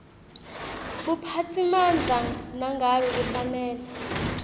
buphatsimandla nangabe kufanele